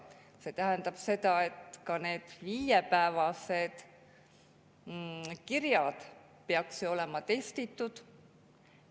See tähendab seda, et ka need viiepäevased kirjad peaks ju olema testitud.